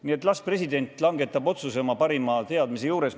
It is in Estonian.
Nii et las president langetab otsuse oma parima teadmise juures.